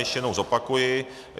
Ještě jednou zopakuji.